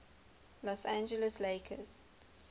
los angeles lakers